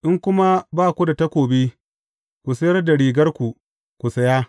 In kuma ba ku da takobi, ku sayar da rigarku, ku saya.